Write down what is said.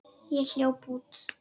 Ég hljóp út.